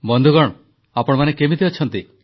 ବନ୍ଧୁଗଣ ଆପଣମାନେ କେମିତି ଅଛନ୍ତି